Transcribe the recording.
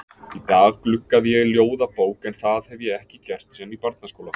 Í dag gluggaði ég í ljóðabók en það hef ég ekki gert síðan í barnaskóla.